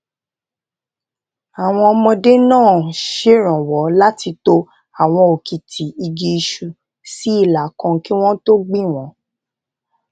àwọn ọmọdé náà ṣèrànwó láti to àwọn òkìtì igi isu sí ìlà kan kí wón tó gbìn wón